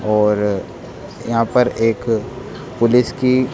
और यहां पर एक पुलिस की--